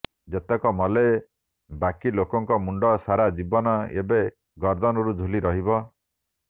ଯେତକ ମଲେ ବାକି ଲୋକଙ୍କ ମୁଣ୍ଡ ସାରା ଜୀବନ ଏବେ ଗର୍ଦ୍ଦନରୁ ଝୁଲି ରହିବ